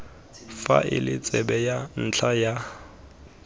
faele tsebe ya ntlha ya